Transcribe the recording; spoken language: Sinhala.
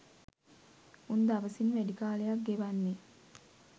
උන් දවසින් වැඩි කාලයක් ගෙවන්නේ